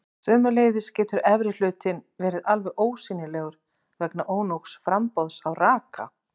sömuleiðis getur efri hlutinn verið alveg ósýnilegur vegna ónógs framboðs á raka